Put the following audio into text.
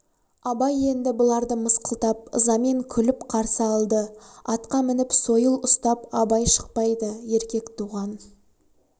абай енді бұларды мысқылдап ызамен күліп қарсы алды атқа мініп сойыл ұстап абай шықпайды еркек туған